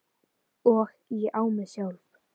Og ég á mig sjálf!